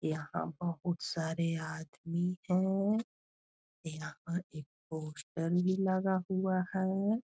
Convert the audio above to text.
यहाँ बहोत सारे आदमी हैं। यहाँ एक पोस्टर भी लगा हुआ है।